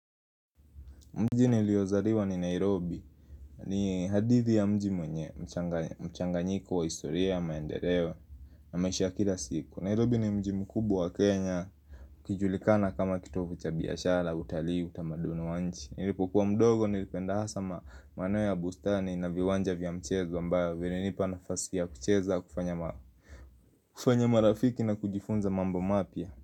Mji niliyozaliwa ni Nairobi ni hadithi ya mji mwenye mchanganyiko wa historia maendeleo na maisha ya kila siku. Nairobi ni mji mkubwa wa Kenya ikijulikana kama kitovy cha biashara utalii utamaduni wa nchi. Nilipokuwa mdogo nilipenda hasa ma maeneo ya bustani na viwanja vya mchezo ambayo vilinipa nafasi ya kucheza kufanya kufanya marafiki na kujifunza mambo mapya.